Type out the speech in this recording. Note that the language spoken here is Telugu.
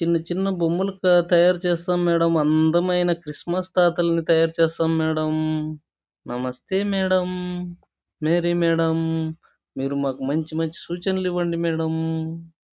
చిన్న చిన్న బొమ్మలు తయారు చేస్తాం మేడమ్ అందమైన క్రిస్మస్ తాతలని తయారు చేస్తాం మేడమ్ నమేస్తే మేడమ్ మేడమ్ మేరి మేడమ్ మీరు మాకు మంచి మంచి సూచనలి ఇవ్వండి మేడమ్ .